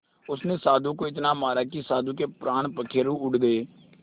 उसने साधु को इतना मारा कि साधु के प्राण पखेरु उड़ गए